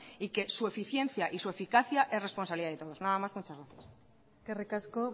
y que su eficiencia y su eficacia es responsabilidad de todos nada más muchas gracias eskerrik asko